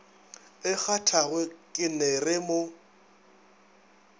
e kgathago ke ner mo